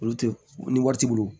Olu tɛ ni wari t'i bolo